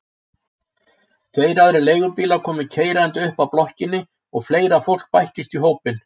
Tveir aðrir leigubílar komu keyrandi upp að blokkinni og fleira fólk bættist í hópinn.